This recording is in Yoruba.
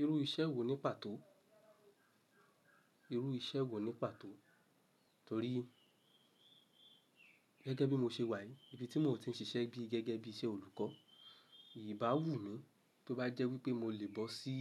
Irú iṣẹ́ wò ní pàtó? Irú iṣẹ́ wò ní pàtó? Torí gẹ́gẹ́ bí mo ṣe wà ní ibi tí mò tí ń ṣiṣẹ́ gẹ́gẹ́ bí iṣẹ́ olùkọ́, ìbáwú mi bí ó bá jẹ́ wípé mo lè bọ́ sí